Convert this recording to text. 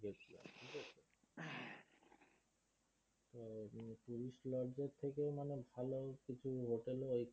ওই tourist lodge থেকে ভালো মানে ভালো কিছু হোটেলও